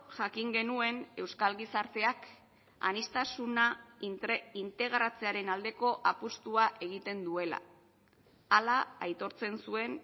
jakin genuen euskal gizarteak aniztasuna integratzearen aldeko apustua egiten duela hala aitortzen zuen